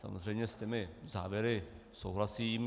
Samozřejmě s těmi závěry souhlasím.